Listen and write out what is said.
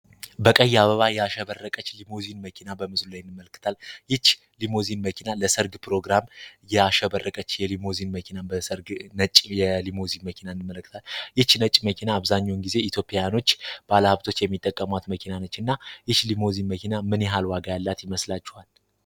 በቀይ አበባ የአሸበረቀች ሊሞዚን መኪና በምስሉ ላይእንድመለክታል። ይች ሊሞዚን መኪና ለሰርግ ፕሮግራም የአሸበረቀች የሊሞዚን መኪናን በሰርግ የሊሞዚን መኪና እንድመለክታል። ይች ነጭ መኪና አብዛኞውን ጊዜ ኢትዮፒያኖች ባለሀብቶች የሚጠቀሟት መኪና ነች እና ይች ሊሞዚን መኪና ምን ሃልዋጋ ያላት ይመስላችዋል።